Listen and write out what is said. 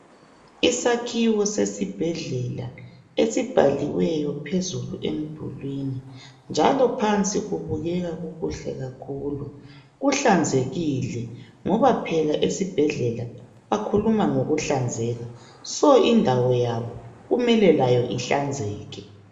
Isakhiwo sesibhedlela esibhaliweyo phezulu emdulwini njalo phansi kubukeka kukuhle kakhulu. Kuhlanzekile ngoba phela esibhedlela bakhuluma ngokuhlanzeka. So indawo yabo kumele layo ihlanzeke.